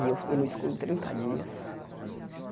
E eu fiquei no escuro trinta dias.